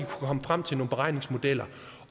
komme frem til nogle beregningsmodeller